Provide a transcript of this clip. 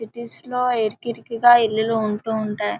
Cities లో ఇరుకు ఇరుకుగా ఇల్లులు ఉంటాయి.